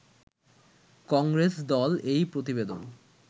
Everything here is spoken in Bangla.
কংগ্রেস দল এই প্রতিবেদন